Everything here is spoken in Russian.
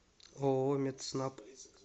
ооо медснаб